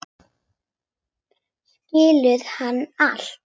Skilur hún allt?